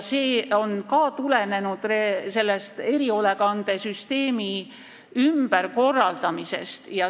See on ka tulenenud erihoolekandesüsteemi ümberkorraldamisest.